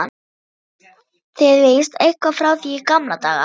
enda þekkist þið víst eitthvað frá því í gamla daga.